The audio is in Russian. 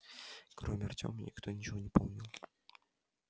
кроме артёма никто ничего не помнил